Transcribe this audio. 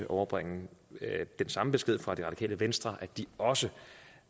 overbringe den samme besked fra det radikale venstre altså at de også